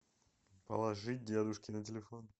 положить дедушке на телефон